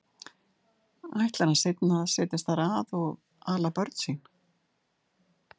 Ætlar hann seinna að setjast þar að og ala börn sín?